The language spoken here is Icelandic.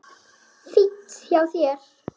Fínt hjá þér.